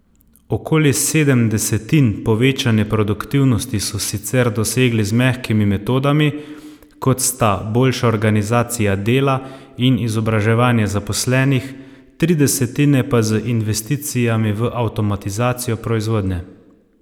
Okoli sedem desetin povečane produktivnosti so sicer dosegli z mehkimi metodami, kot sta boljša organizacija dela in izobraževanje zaposlenih, tri desetine pa z investicijami v avtomatizacijo proizvodnje.